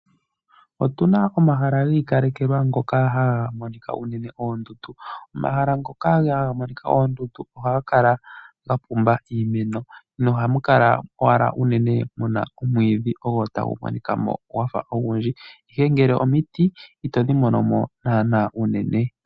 Otuna omahala ngoka giikalekelwa ngoka haga monika unene oondundu. Omahala ngoka ohaga monika oondundu ohaga kala gapumba iimeno nohamu kala owala muna unene omwiidhi ogo tagumonikamo ogundji, ihe ngele omiti itodhi monomo naanaa unene.